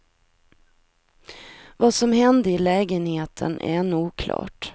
Vad som hände i lägenheten är ännu oklart.